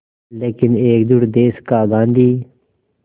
लेकिन एकजुट देश का गांधी